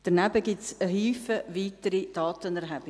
Daneben gibt es zahlreiche weitere Datenerhebungen.